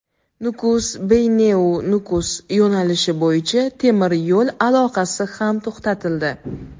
"Nukus-Beyneu-Nukus" yo‘nalishi bo‘yicha temir yo‘l aloqasi ham to‘xtatildi.